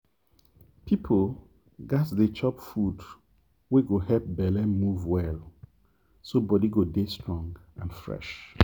people gats dey chop food wey go help belle move well so body go dey strong and fresh.